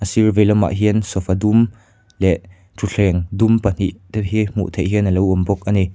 sîr veilamah hian sofa dum leh ṭhuthleng dum pahnih te hi hmuh theih hian a lo awm bawk a ni.